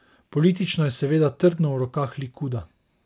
Politično je seveda trdno v rokah Likuda.